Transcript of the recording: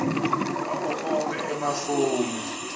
wawo onkhe emafomu